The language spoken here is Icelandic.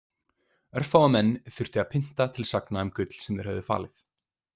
Örfáa menn þurfti að pynta til sagna um gull sem þeir höfðu falið.